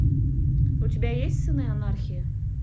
у тебя есть сыны анархии